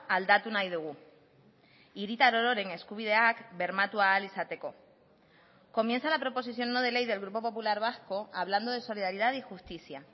aldatu nahi dugu hiritar ororen eskubideak bermatu ahal izateko comienza la proposición no de ley del grupo popular vasco hablando de solidaridad y justicia